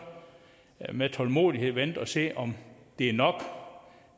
med tålmodighed vente og se om det er nok